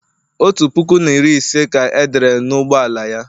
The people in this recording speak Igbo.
otu puku na iri ise ka e dere n'ụgbọ ala ya